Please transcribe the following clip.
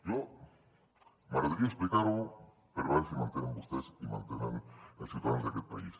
a mi m’agradaria explicar ho per veure si m’entenen vostès i m’entenen els ciutadans d’aquest país